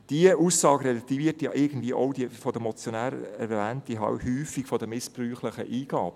Diese Aussage relativiert ja irgendwie auch die von den Motionären erwähnte Häufung missbräuchlicher Eingaben.